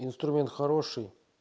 инструмент хороший